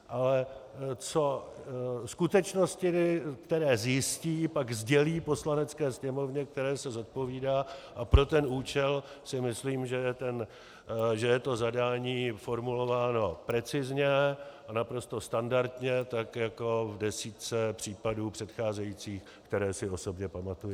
Ale skutečnosti, které zjistí, pak sdělí Poslanecké sněmovně, které se zodpovídá, a pro ten účel si myslím, že je to zadání formulováno precizně a naprosto standardně, tak jako v desítce případů předcházejících, které si osobně pamatuji.